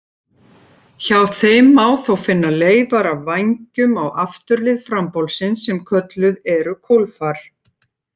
Hjá þeim má þó finna leifar af vængjum á afturlið frambolsins sem kölluð eru kólfar.